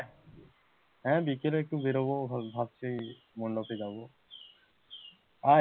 হ্যাঁ বিকালে একটু বেরোব ভাবছি বন্ধুরা সব যাবে, আয়,